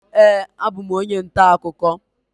Ee, abụ m onye ntaakụkọ